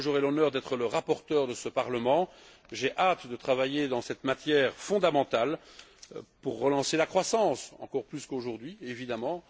J'aurai l'honneur d'être le rapporteur de ce Parlement et j'ai hâte de travailler dans cette matière fondamentale pour relancer la croissance, encore plus qu'aujourd'hui, évidemment.